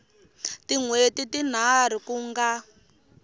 tin hweti tinharhu ku nga